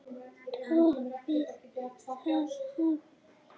Toppið það nafn!